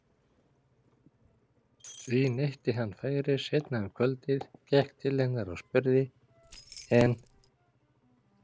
Því neytti hann færis seinna um kvöldið, gekk til hennar og spurði:- En